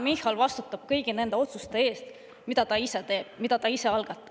Michal vastutab praegu kõigi nende otsuste eest, mida ta ise teeb, mida ta ise algatab.